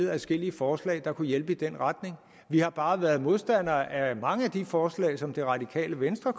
adskillige forslag der kunne hjælpe i den retning vi har bare været modstandere af mange af de forslag som det radikale venstre